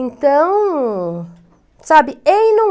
Então, sabe, é não é.